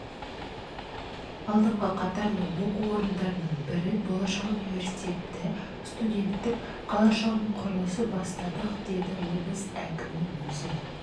алдыңғы қатарлы оқу орындарының бірі болашақ университеті студенттік қалашығының құрылысын бастадық деді облыс әкімі өз